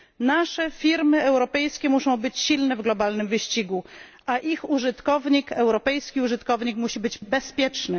Nasze firmy europejskie muszą być silne w globalnym wyścigu, a ich użytkownik, użytkownik europejski, musi być bezpieczny.